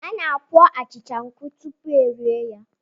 A na-akpọọ achịcha nkụ tupu erie ya.